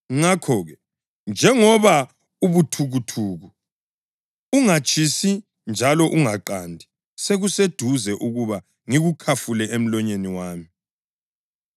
Ngakho-ke, njengoba ubuthukuthuku, ungatshisi njalo ungaqandi, sekuseduze ukuba ngikukhafule emlonyeni wami.